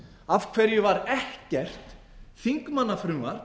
af hverju var ekkert þingmannafrumvarp